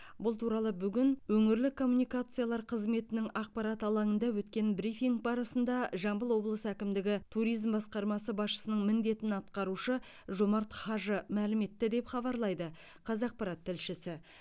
бұл туралы бүгін өңірлік коммуникациялар қызметінің ақпарат алаңында өткен брифинг барысында жамбыл облысы әкімдігі туризм басқармасы басшысының міндетін атқарушы жомарт хажы мәлім етті деп хабарлайды қазақпарат тілшісі